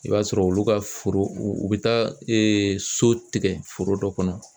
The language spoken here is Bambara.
I b'a sɔrɔ olu ka foro u bɛ taa so tigɛ foro dɔ kɔnɔ